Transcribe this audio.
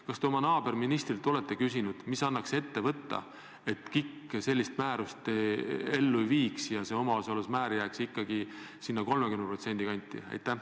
Kas te oma naaberministrilt olete küsinud, mis annaks ette võtta, et KIK sellist määrust ellu ei viiks ja see omaosalusmäär jääks ikkagi sinna 30% kanti?